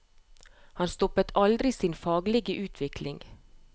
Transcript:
Han stoppet aldri sin egen faglige utvikling.